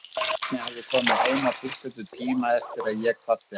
Bjarni hafði komið heim á tilskildum tíma eftir að ég kvaddi hann.